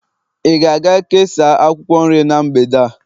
ị ga-aga kesaa akwukwor nrie n' mgbede a